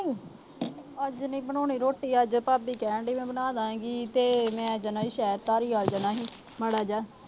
ਅੱਜ ਨੀ ਬਣਾਉਣੀ ਰੋਟੀ। ਅੱਜ ਭਾਬੀ ਕਹਿਣ ਡਈ ਅੱਜ ਮੈਂ ਬਣਾ ਦਿਆਂਗੀ ਤੇ ਮੈਂ ਸ਼ਹਿਰ ਧਾਲੀਵਾਲ ਜਾਣਾ ਸੀ ਜਰਾ ਜਾ।